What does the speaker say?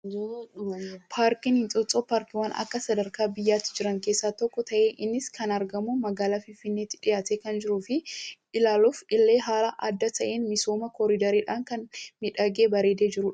Paarkiin Inxooxxoo paarkiiwwan akka sadarkaa biyyaatti Jira keessaa tokko ta'ee innis kan argamu magaalaa Finfinneetti dhiyaatee kan jiruu fi ilaaluuf illee haala adda ta'een misooma koriidariidhaan kan miidhagee bareedee jirudha.